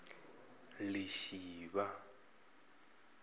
lishivha